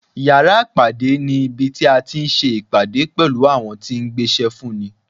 Yàrá ìpàdé ní ibi tí a ti ń se ìpàdé pẹ̀lú àwọn tí ń gbéṣẹ́ fún ni.